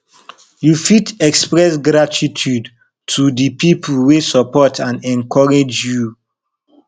you fit express gratitude to de people wey support and encourage you